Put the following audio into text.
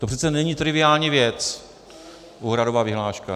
To přece není triviální věc, úhradová vyhláška.